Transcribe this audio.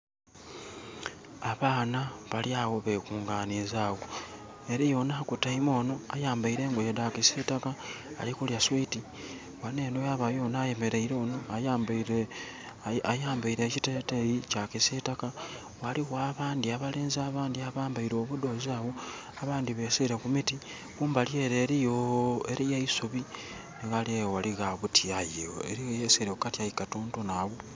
Abaana bali agho bekunganiza agho. Eliyo onho akutaime onho ayambaire engoye dha kisiitaka ali kulya swiiti. Ghano enho yabaayo ono ayemeleire onho ayambaire ekiteteeyi kya kisiitaka. Ghaligho abandhi abalenzi abandhi abambaire obudhoozi agho. Abandhi beesiire ku miti. Kumbali ele eliyo, eliyo eisubi. Ghaligho aghali obuti aye, eliyo eyeesiire ku kati aye katonotono agho.